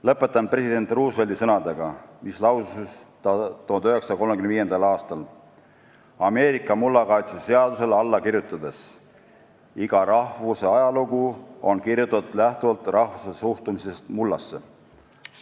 Lõpetan president Roosevelti sõnadega, mis ta lausus 1935. aastal Ameerika mullakaitseseadusele alla kirjutades: "Iga rahvuse ajalugu on kirjutatud lähtuvalt rahva suhtumisest mullasse.